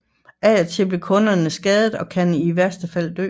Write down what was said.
Af og til bliver kunderne skadet og kan i værste fald dø